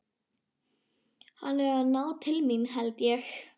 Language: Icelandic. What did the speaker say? Hann er að ná til mín, held ég.